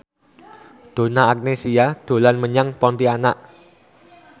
Donna Agnesia dolan menyang Pontianak